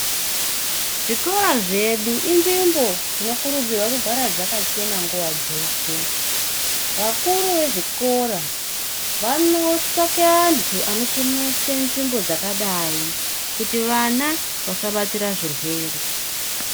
Zvikora zvedu inzvimbo dzinokurudzirwa kugara dzakachena nguwa dzeshe. Vakuru zvezvikora vanotsvaka vantu vanochenesa nzvimbo dzakadai kuti vana vasabatira zvirwere.